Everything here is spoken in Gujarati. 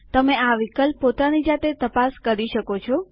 તમે આ વિકલ્પ પોતાની જાતે તપાસ કરી શકો છે